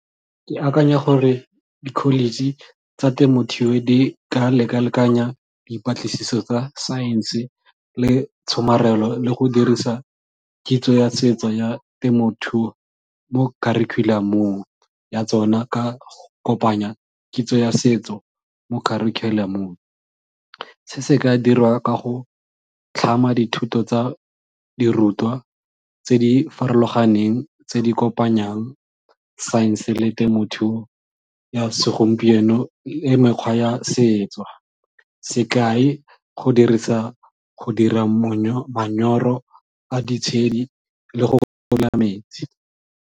Ke akanya gore di-college tsa temothuo di ka lekalekanya dipatlisiso tsa saense le tshomarelo le go dirisa kitso ya setso ya temothuo mo kharikhulamong ya tsona ka kopanya kitso ya setso mo kharikhulamong. Se se ka dirwa ka go tlhama dithuto tsa dirutwa tse di farologaneng tse di kopanyang saense le temothuo ya segompieno mekgwa ya setso, sekai go dirisa go dira manyoro a ditshedi le go metsi.